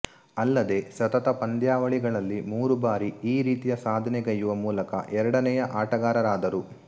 ಅಲ್ಲದೆ ಸತತ ಪಂದ್ಯಾವಳಿಗಳಲ್ಲಿ ಮೂರು ಬಾರಿ ಈ ರೀತಿಯ ಸಾಧನೆಗೈಯುವ ಮೂಲಕ ಎರಡನೆಯ ಆಟಗಾರರಾದರು